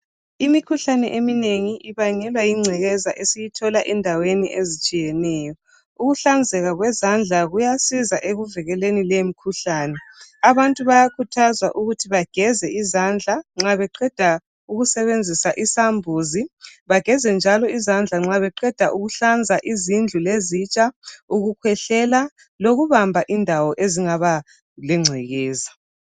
Imikhuhlane eminengi ibangelwa yingcekeza esiyithola endaweni ezitshiyeneyo. Ukuhlanzeka kwezandla ekuvikeleni leyi imikhuhlane. Abantu bayakhuthazwa ukuthi bageze izandla nxa beqeda ukusebenzisa isambuzi bageze njalo izandla nxa beqeda ukuhlanza izindlu lezitsha ukukhwehlela lokubamba indawo ezingaba lengcekeza.